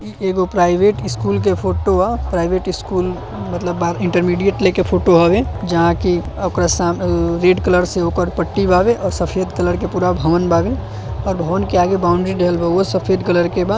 ई एगो private school के फोटो ह। प्राइवेट स्कूल मतलब बा इन्टरमिडिएट लेके फोटो हव। जहाँ की ओकर सा ऊ रेड कलर से ओकर पट्टी बाये और सफेद कलर के पूरा भवन बाये। भवन के आगे बाउंड्री दीहल बा। उहो सफेद कलर के बा।